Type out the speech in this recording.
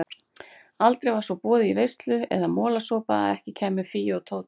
Aldrei var svo boðið í veislu eða molasopa að ekki kæmu Fía og Tóti.